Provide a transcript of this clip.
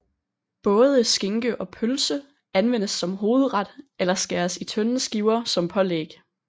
Både skinke og pølse anvendes som hovedret eller skæres i tynde skiver som pålæg